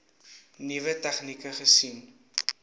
nuwe tegnieke gesien